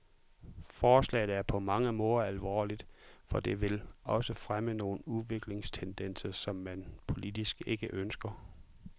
Forslaget er på mange måder alvorligt, for det vil også fremme nogle udviklingstendenser, som man politisk ikke ønsker.